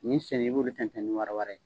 Nin sɛɲɛn bɔ bɛ kɛ ni wara wara ye.